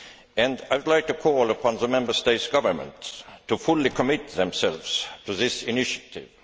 and I would like to call upon the Member State governments to fully commit themselves to this initiative.